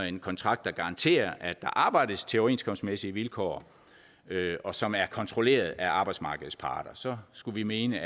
en kontrakt der garanterer at der arbejdes til overenskomstmæssige vilkår og som er kontrolleret af arbejdsmarkedets parter så skulle vi mene